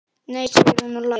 Nei segir hún og hlær.